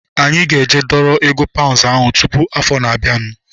Anyị ga-eje dọrọ ego paunds ahu tụpụ afọ na-abianu